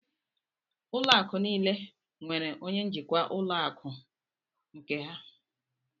Ụlọ akụ niile nwèrè onye njikwa ụlọ akụ nke ha